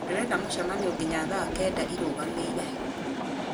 ndĩrenda mũcemanio nginya thaa kenda ĩrũgamĩire